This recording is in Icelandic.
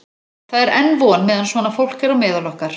Það er enn von meðan svona fólk er á meðal okkar!